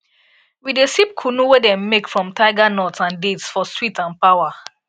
we dey sip kunu wey dem make from tiger nuts and dates for sweet and power